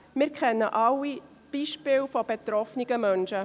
Wir alle kennen Beispiele betroffener Menschen.